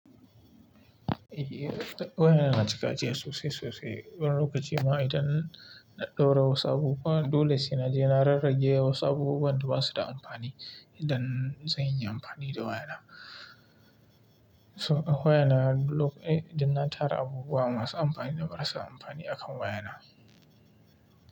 Eh waya na cika jiya sosai sosai. Wani lokaci ma idan na ɗaura wasu abubuwa dole sai na je na rarrage wasu abubuwan da ba su da amfani idan zan yi amfani da waya na. To a waya na lok-- eh idan na tara abubuwa masu amfani da marasa amfani akan waya na.